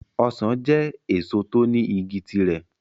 Ọsàn jẹ́ èso tó ní igi ti rẹ̀.